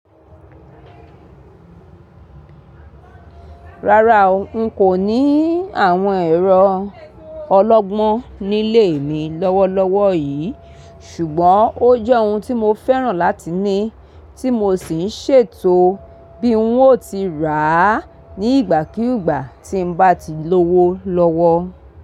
Rárá o, n kò ní àwọn ẹ̀rọ ọlọ́gbọ́n nílé mi lọ́wọ́lọ́wọ́ yìí, ṣùgbọ́n ó jẹ́ ohun tí mo fẹ́ràn láti ní, tí mo sì ń ṣètò bí n ó ti rà á ní ìgbàkígbà tí n bá ti lówó lọ́wọ́